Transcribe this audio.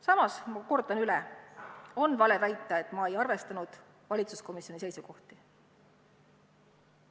Samas kordan ma üle, et on vale väita, et ma ei arvestanud valitsuskomisjoni seisukohti.